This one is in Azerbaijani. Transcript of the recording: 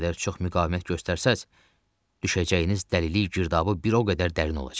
Nə qədər çox müqavimət göstərsəz düşəcəyiniz dəlilik girdabı bir o qədər dərin olacaq.